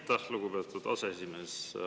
Aitäh, lugupeetud aseesimees!